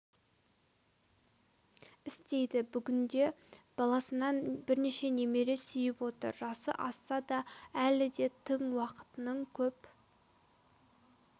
істейді бүгінде баласынан бірнеше немере сүйіп отыр жасы асса да әлі де тың уақытының көп